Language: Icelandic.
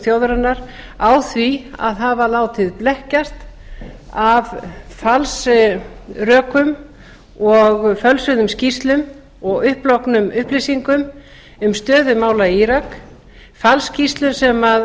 þjóðarinnar á því að hafa látið blekkjast af falsrökum og fölsuðum skýrslum og upplognum upplýsingum um stöðu mála í írak falsskýrslu sem